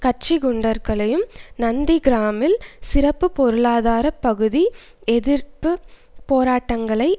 கட்சி குண்டர்களையும் நந்திகிராமில் சிறப்பு பொருளாதார பகுதி எதிர்ப்பு போராட்டக்காரர்களை